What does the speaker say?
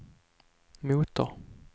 motor